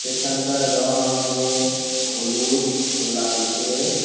Station -টার রং আমাদের হলুদ ও লালচে ।